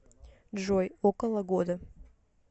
джой около года